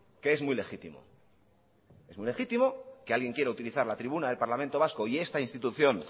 que es muy legítimo es muy legítimo que alguien quiera utilizar la tribuna del parlamento vasco y esta institución